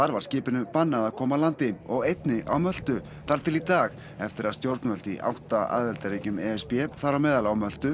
var skipinu bannað að koma að landi og einnig á Möltu þar til í dag eftir að stjórnvöld í átta aðildarríkjum e s b þar á meðal á Möltu